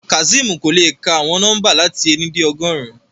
Kazeem ko le ka awọn nọmba lati éni de ọgọrun